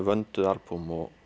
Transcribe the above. vönduð albúm og